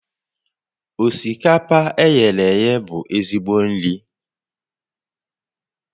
Osikapa e ghere eghe bụ ezigbo nri